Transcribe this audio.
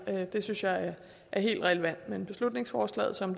det synes jeg er helt relevant men beslutningsforslaget som